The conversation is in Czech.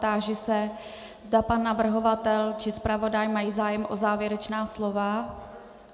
Táži se, zda pan navrhovatel či zpravodaj mají zájem o závěrečná slova.